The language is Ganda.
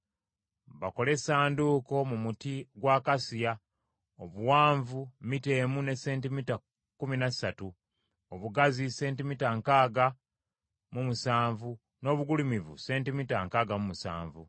“Bakole essanduuko mu muti gwa akasiya, obuwanvu mita emu ne sentimita kkumi na ssatu, obugazi sentimita nkaaga mu musanvu n’obugulumivu sentimita nkaaga mu musanvu.